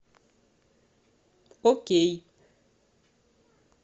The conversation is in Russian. окей